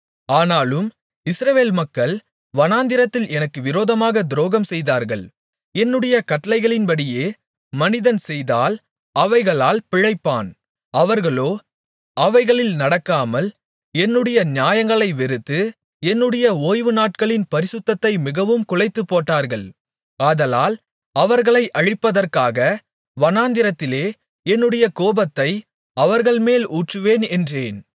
ஆனாலும் இஸ்ரவேல் மக்கள் வனாந்திரத்தில் எனக்கு விரோதமாக துரோகம் செய்தார்கள் என்னுடைய கட்டளைகளின்படியே மனிதன் செய்தால் அவைகளால் பிழைப்பான் அவர்களோ அவைகளில் நடக்காமல் என்னுடைய நியாயங்களை வெறுத்து என்னுடைய ஓய்வுநாட்களின் பரிசுத்தத்தை மிகவும் குலைத்துப்போட்டார்கள் ஆதலால் அவர்களை அழிப்பதற்காக வனாந்திரத்திலே என்னுடைய கோபத்தை அவர்கள்மேல் ஊற்றுவேன் என்றேன்